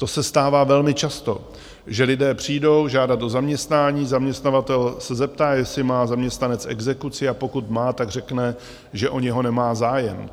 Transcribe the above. To se stává velmi často, že lidé přijdou žádat o zaměstnání, zaměstnavatel se zeptá, jestli má zaměstnanec exekuci, a pokud má, tak řekne, že o něho nemá zájem.